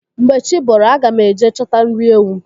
Mgbe chi bọrọ aga m eje chọta nri ewu.